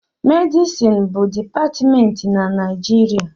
Medịsịn bụ dịpatmentị na mahadum